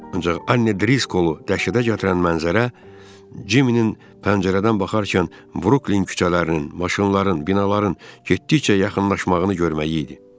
Ancaq Anne Driskolu dəhşətə gətirən mənzərə Jimminin pəncərədən baxarkən Bruklin küçələrinin, maşınların, binaların getdikcə yaxınlaşmağını görməyi idi.